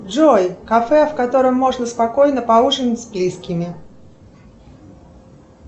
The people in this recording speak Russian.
джой кафе в котором можно спокойно поужинать с близкими